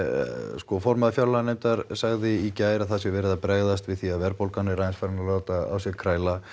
sko formaður fjárlaganefndar sagði í gær að það sé verið að bregðast við því að verðbólgan er aðeins farin að láta á sér kræla